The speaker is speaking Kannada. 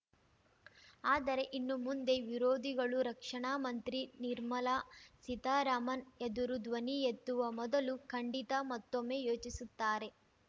ಆದರೆ ಇನ್ನು ಮುಂದೆ ವಿರೋಧಿಗಳು ರಕ್ಷಣಾ ಮಂತ್ರಿ ನಿರ್ಮಲಾ ಸೀತಾರಾಮನ್‌ ಎದುರು ಧ್ವನಿ ಎತ್ತುವ ಮೊದಲು ಖಂಡಿತ ಮತ್ತೊಮ್ಮೆ ಯೋಚಿಸುತ್ತಾರೆ